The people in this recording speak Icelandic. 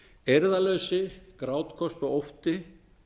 eirðarleysi grátköst og ótti